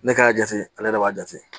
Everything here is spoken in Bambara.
Ne ka jate ale yɛrɛ de b'a jate